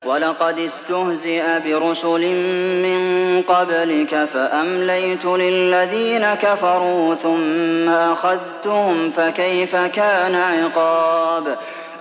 وَلَقَدِ اسْتُهْزِئَ بِرُسُلٍ مِّن قَبْلِكَ فَأَمْلَيْتُ لِلَّذِينَ كَفَرُوا ثُمَّ أَخَذْتُهُمْ ۖ فَكَيْفَ كَانَ عِقَابِ